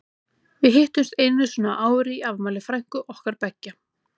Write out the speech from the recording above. Við hittumst einu sinni á ári í afmæli frænku okkar beggja.